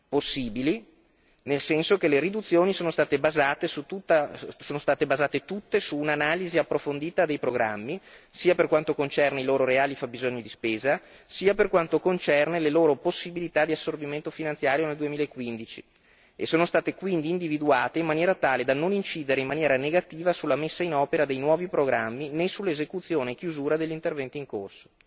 Possibili, nel senso che le riduzioni sono state basate tutte su un'analisi approfondita dei programmi, sia per quanto concerne i loro reali fabbisogni di spesa, sia per quanto concerne le loro possibilità di assorbimento finanziario nel 2015, e sono state quindi individuate in maniera tale da non incidere in negativamente sulla messa in opera dei nuovi programmi, né sull'esecuzione e chiusura degli interventi in corso.